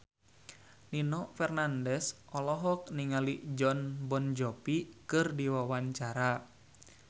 Nino Fernandez olohok ningali Jon Bon Jovi keur diwawancara